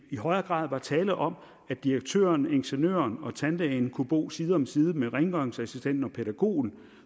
i højere grad var tale om at direktøren ingeniøren og tandlægen kunne bo side om side med rengøringsassistenten og pædagogen